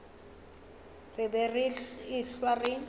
re be re ehlwa re